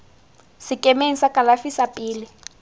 sekemeng sa kalafi sa pele